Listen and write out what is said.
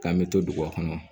K'an bɛ to duguba kɔnɔ